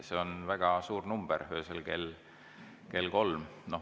See on väga suur number öösel kell kolm.